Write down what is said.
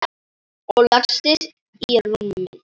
Og lagðist í rúmið.